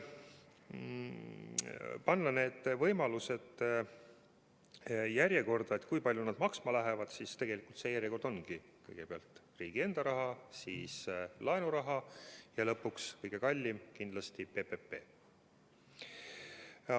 Kui panna need võimalused järjekorda, kui palju need maksma lähevad, siis tegelikult see järjekord ongi selline, et kõigepealt riigi enda raha, siis laenuraha ja lõpuks kindlasti kõige kallim PPP.